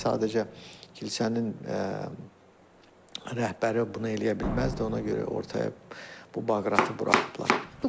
Sadəcə kilsənin rəhbəri bunu eləyə bilməzdi, ona görə ortaya bu Baqratı buraxıblar.